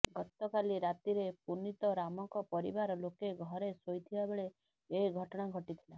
ଗତକାଲି ରାତିରେ ପୁନିତରାମଙ୍କ ପରିବାର ଲୋକେ ଘରେ ଶୋଇଥିବା ବେଳେ ଏ ଘଟଣା ଘଟିଥିଲା